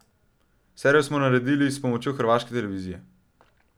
Serijo smo naredili s pomočjo Hrvaške televizije.